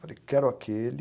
Falei, quero aquele.